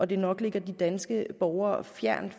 det nok ligger danske borgere fjernt